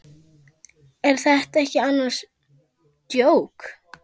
Er þetta ekki annars djók?